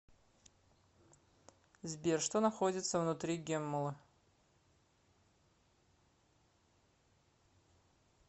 сбер что находится внутри геммулы